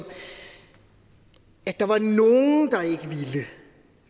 at der var nogen